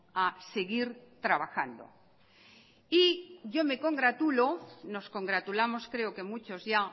a seguir trabajando y yo me congratulo nos congratulamos creo que muchos ya